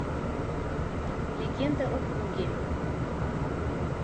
легенда о круге